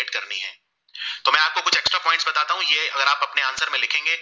कहेता हु ये अगर आप अपने answer में लिखेंगे